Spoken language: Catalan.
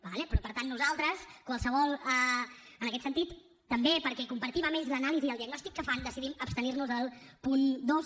d’acord però per tant nosaltres en aquest sentit també perquè compartim amb ells l’anàlisi i el diagnòstic que fan decidim abstenir nos del punt dos